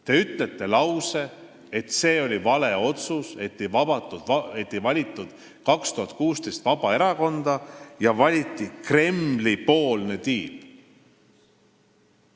Te ütlesite lause, et see oli vale otsus, et 2016. aastal ei valitud valitsusse Vabaerakonda ja valiti Kremli-poolne tiib.